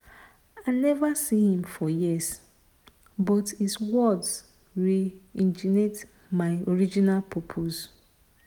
i never see him for years but his words reignite my original purpose.